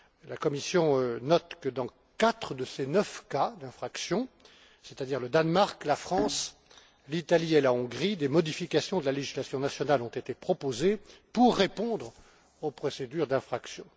La Commission note que, dans quatre de ces neuf cas d'infraction c'est à dire le Danemark, la France, l'Italie et la Hongrie des modifications de la législation nationale ont été proposées pour répondre aux procédures d'infraction.